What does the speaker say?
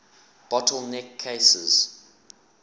bottle neck cases